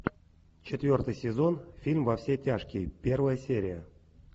четвертый сезон фильм во все тяжкие первая серия